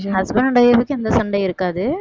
husband and wife க்கு எந்த சண்டையும் இருக்காது